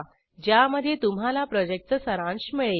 ज्यामध्ये तुम्हाला प्रॉजेक्टचा सारांश मिळेल